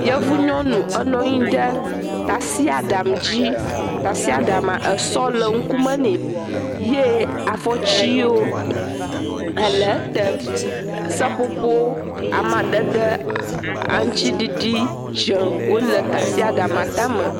Yevu nyɔnu wonɔ nyi ɖe tasiaɖam dzi. Tasiaɖamaa, esɔ le ŋkume nɛ ye afɔtsiwo ele ete, seƒoƒo amadede aŋutsiɖiɖi dzɛ̃ wole tasiaɖamaa tame.